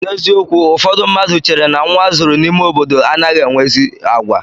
N'eziokwu ụfọdụ mmadụ chère na nnwa azụrụ n'ime obodo anaghị enwe ezi àgwà.